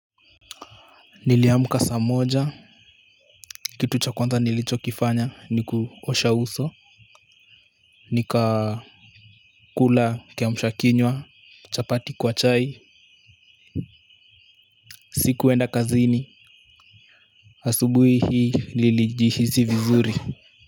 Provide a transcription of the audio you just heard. Niliamka saa moja. Kitu cha kwanza nilichokifanya ni kuosha uso. NikaKula kiamsha kinywa chapati kwa chai. Sikuenda kazini asubuhi hii nilijihisi vizuri.